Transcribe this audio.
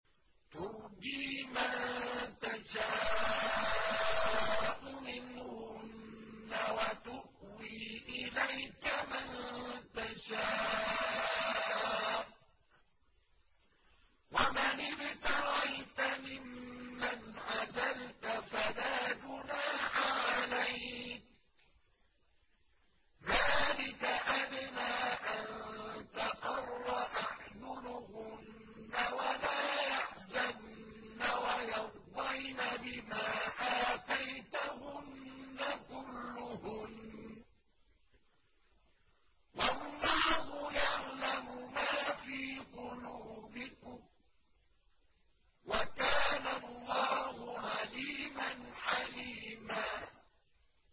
۞ تُرْجِي مَن تَشَاءُ مِنْهُنَّ وَتُؤْوِي إِلَيْكَ مَن تَشَاءُ ۖ وَمَنِ ابْتَغَيْتَ مِمَّنْ عَزَلْتَ فَلَا جُنَاحَ عَلَيْكَ ۚ ذَٰلِكَ أَدْنَىٰ أَن تَقَرَّ أَعْيُنُهُنَّ وَلَا يَحْزَنَّ وَيَرْضَيْنَ بِمَا آتَيْتَهُنَّ كُلُّهُنَّ ۚ وَاللَّهُ يَعْلَمُ مَا فِي قُلُوبِكُمْ ۚ وَكَانَ اللَّهُ عَلِيمًا حَلِيمًا